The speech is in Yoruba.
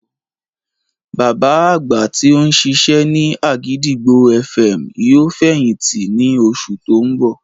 Bàbá àgbà tí ó ń ṣiṣẹ́ ní àgìdìgbò FM yóò fẹ̀yìntì ní oṣù tí ó ń bọ̀